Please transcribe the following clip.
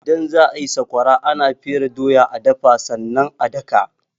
Idan za a yi sakwara, ana fere doya,a dafa sannan a daka.